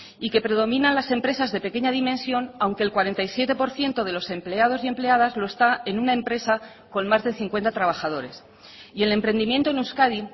y que predominan las empresas de pequeña dimensión aunque el cuarenta y siete por ciento de los empleados y empleadas lo está en una empresa con más de cincuenta trabajadores y el emprendimiento en euskadi